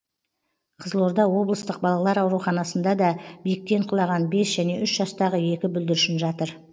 қызылорда облыстық балалар ауруханасында да биіктен құлаған бес және үш жастағы екі бүлдіршін жатыр